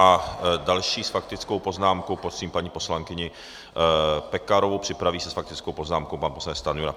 A další s faktickou poznámkou prosím paní poslankyni Pekarovou, připraví se s faktickou poznámkou pan poslanec Stanjura.